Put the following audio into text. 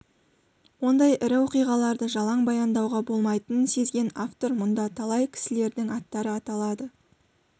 ондай ірі оқиғаларды жалаң баяндауға болмайтынын сезген автор мұнда талай кісілердің аттары аталады